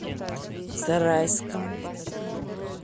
зарайском